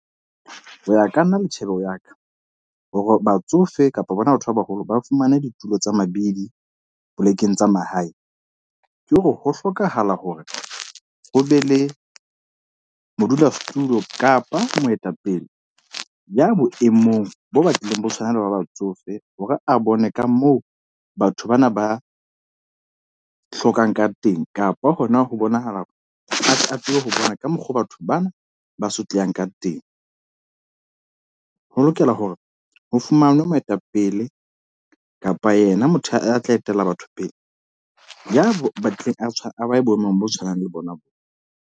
Hoya ka nna le tjhebeho ya ka, hore batsofe kapa bona batho ba baholo ba fumane ditulo tsa mabidi, polekeng tsa mahae. Ke hore ho hlokahala hore ho be le modulasetulo kapa moetapele ya boemong bo batlileng bo tshwana le ba batsofe. Hore a bone ka moo batho bana ba hlokang ka teng, kapa hona ho bonahala a tsebe ho bona ka mokgo batho bana ba sotleha ka teng. Ho lokela hore ho fumanwe moetapele kapa yena motho a tla etela batho pele. Ya batlileng a tshwana, a boemong bo tshwanang le bona bo.